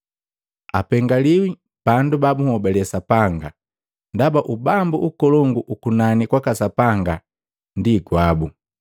Apengaliwi bandu babunhobale Sapanga, ndaba Ubambu ukolongu ukunani kwaka Sapanga ndi gwabu.